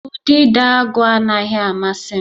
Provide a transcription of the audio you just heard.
Udidoagu anaghị amasị m